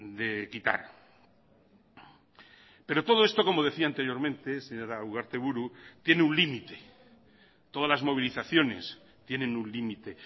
de quitar pero todo esto como decía anteriormente señora ugarteburu tiene un límite todas las movilizaciones tienen un límite